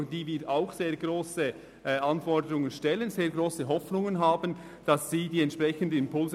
An diese stellen wir auch sehr hohe Anforderungen, und wir von ihr erwarten wir ebenfalls Impulse.